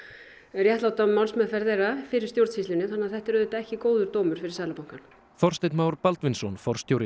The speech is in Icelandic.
réttláta málsmeðferð þeirra fyrir stjórnsýslunni þannig að þetta er auðvitað ekki góður dómur fyrir Seðlabankann Þorsteinn Már Baldvinsson forstjóri